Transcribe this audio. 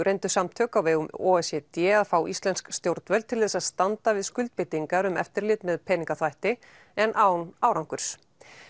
reyndu samtök á vegum o e c d að fá íslensk stjórnvöld til þess að standa við skuldbindingar um eftirlit með peningaþvætti en án árangurs